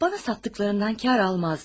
Mənə satdıqlarından qazanc götürməzdi.